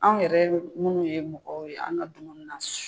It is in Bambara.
Anw yɛrɛ munnu ye mɔgɔw ye an ka dumuni na